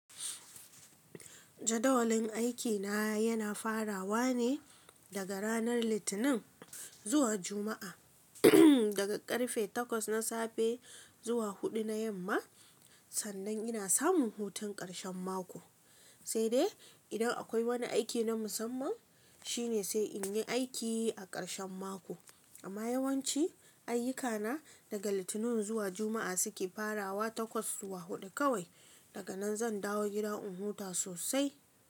Jadawalin aikina yana farawa ne daga ranar Litinin zuwa Juma'a, ehm daga ƙarfe 8 na safe zuwa 4 na yamma, sannan ina samun hutun ƙarshen mako. Sai dai idan akwai wani aiki na musamman shine sai inyi aiki a ƙarshen mako. Amma yawanci ayyukana daga Litinin zuwa Juma'a suke farawa takwas zuwa huɗu kawai. Daga nan zan dawo gida in huta sosai.